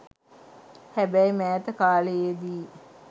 හැබැයි මෑත කාලයේදී